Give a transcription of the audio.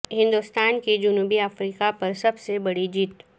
ہندوستان کی جنوبی افریقہ پر سب سے بڑی جیت